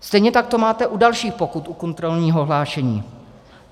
Stejně tak to máte u dalších pokut u kontrolního hlášení.